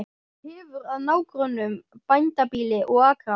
Hefur að nágrönnum bændabýli og akra.